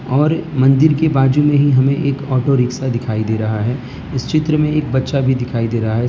और मंदिर के बाजू में ही हमें एक ऑटो रिक्शा दिखाई दे रहा है इस चित्र में एक बच्चा भी दिखाई दे रहा है।